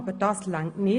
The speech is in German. Aber das reicht nicht!